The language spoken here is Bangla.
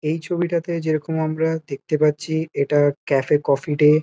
এই ছবিটাতে যেরকম আমরা দেখতে পাচ্ছি এটা ক্যাফে কফি ডে ।